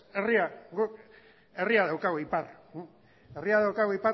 ez herria guk herria daukagu ipar